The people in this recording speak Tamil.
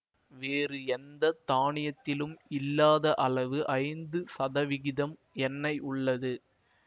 வேறு எந்த தானியத்திலும் இல்லாத அளவு ஐந்து சதவிகிதம் எண்ணெய் உள்ளது